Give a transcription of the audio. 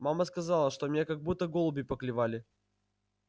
мама сказала что меня как будто голуби поклевали